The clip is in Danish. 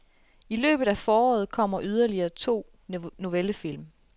I løbet af foråret kommer yderligere to novellefilm.